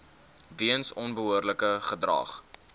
weens onbehoorlike gedrag